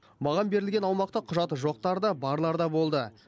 маған берілген аумақта құжаты жоқтар да барлар да болды